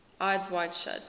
eyes wide shut